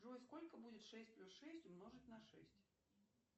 джой сколько будет шесть плюс шесть умножить на шесть